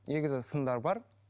негізі сындар бар